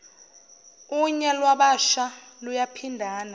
unya lwabasha luyaphindana